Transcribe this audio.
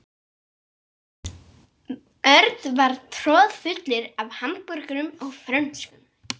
Tekur lagagreinin til slíkra sjóða eftir því sem við á.